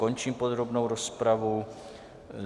Končím podrobnou rozpravu.